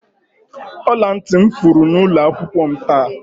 Ọla ntị m furu n'ụlọ akwụkwọ m taa.